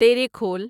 تیریکھول